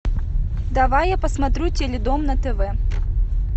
давай я посмотрю теледом на тв